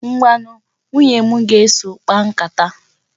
Ngwanu, nwunye m ga-eso, kpaa nkata.